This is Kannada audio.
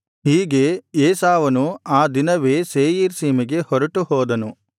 ಹೀಗೆ ಏಸಾವನು ಆ ದಿನವೇ ಸೇಯೀರ್ ಸೀಮೆಗೆ ಹೊರಟುಹೋದನು